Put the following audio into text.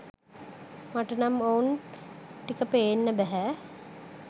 මට නම් ඔවුන් ටික පේන්න බැහැ